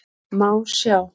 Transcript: Má sjá